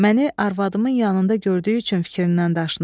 Məni arvadımın yanında gördüyü üçün fikrindən daşınıb.